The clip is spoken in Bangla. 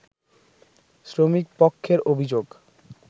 শ্রমিকপক্ষের অভিযোগ